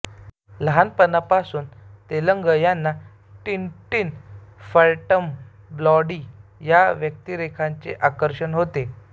लहानपणापासून तेलंग यांना Tintin Phantom Blondie या व्यक्तिरेखांचे आकर्षण होते